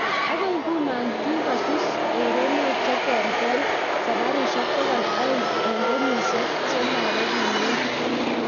Agoi nguno kikosuus erenok cheterter saparisiek pokol oeng eng kenyisiek chemaregune tiptem